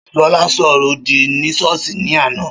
Ṣọlá ṣo ọrọ òdì ni ṣọ́ọ̀ṣì ní àná.